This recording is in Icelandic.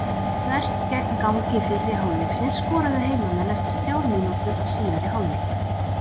Þvert gegn gangi fyrri hálfleiksins skoruðu heimamenn eftir þrjár mínútur af síðari hálfleik.